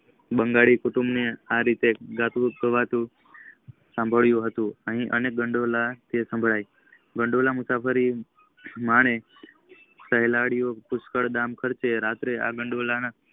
બંગાળીયા કુટુંબ માં આરીતે ગટુગાવાતું સાંભળયુ હતું. અહીં કઈ કટોળાં સંભળાઈ વઠોલો મુસાફરી માટે ખેલાડીઓ પુષ્ટક ના ખર્ચે આ ખાંડેલોના